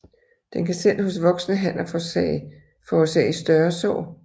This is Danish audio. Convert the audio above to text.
Den kan selv hos voksne hanner forårsage større sår